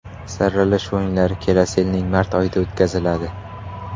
Saralash o‘yinlari kelasi yilning mart oyida o‘tkaziladi.